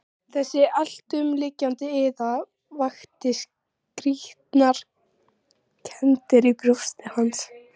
Þessi alltumlykjandi iða vakti skrýtnar kenndir í brjósti hans.